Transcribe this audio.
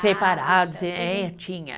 Separados, é, tinha.